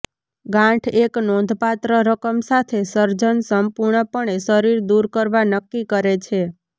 ગાંઠ એક નોંધપાત્ર રકમ સાથે સર્જન સંપૂર્ણપણે શરીર દૂર કરવા નક્કી કરે છે